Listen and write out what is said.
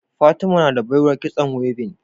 fatima nada baiwar kitson weaving